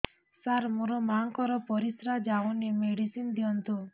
ସାର ମୋର ମାଆଙ୍କର ପରିସ୍ରା ଯାଉନି ମେଡିସିନ ଦିଅନ୍ତୁ